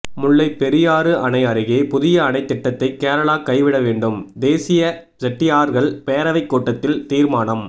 முல்லைப்பெரியாறு அணை அருகே புதிய அணை திட்டத்தை கேரளா கைவிட வேண்டும் தேசிய செட்டியார்கள் பேரவை கூட்டத்தில் தீர்மானம்